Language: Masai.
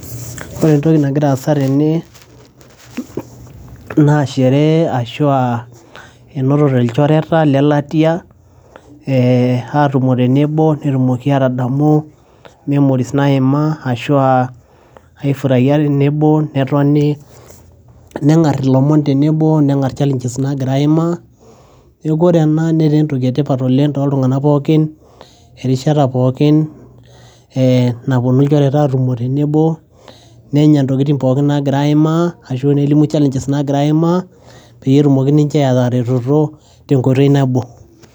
ore entoki nagira aasa tene naa sherehe ashua enotote ilchoreta lelatia eh, atumo tenebo netumoki atadamu memories naima ashua aifuraia tenebo netoni neng'arr ilomon tenebo neng'arr challenges nagira aimaa neeku ore ena netaa entoki etipat oleng toltung'anak pookin erishata pookin eh, naponu ilchoreta atumo tenebo nenya ntokitin pookin nagira aimaa ashu nelimu challenges nagira aimaa peyie etumoki ninye ataretoto tenkoitoi nabo.